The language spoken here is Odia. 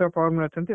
ସବୁ form ରେ ଅଛନ୍ତି